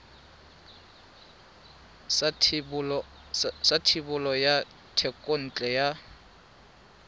sa thebolo ya thekontle ya